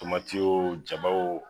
Tomati oo jaba oo.